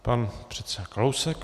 Pan předseda Kalousek.